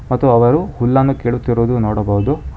ಮತ್ತು ಅವರು ಹುಲ್ಲನ್ನು ಕೀಳುತ್ತಿರುವುದು ನೋಡಬಹುದು.